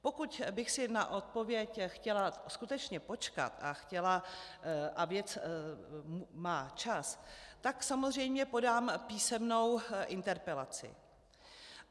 Pokud bych si na odpověď chtěla skutečně počkat a věc má čas, tak samozřejmě podám písemnou interpelaci.